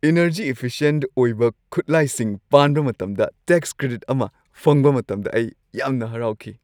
Energy-efficient ꯑꯣꯏꯕ ꯈꯨꯠꯂꯥꯏꯁꯤꯡ ꯄꯥꯟꯕ ꯃꯇꯝꯗ ꯇꯦꯛꯁ ꯀ꯭ꯔꯦꯗꯤꯠ ꯑꯃ ꯐꯪꯕ ꯃꯇꯝꯗ ꯑꯩ ꯌꯥꯝꯅ ꯍꯔꯥꯎꯈꯤ꯫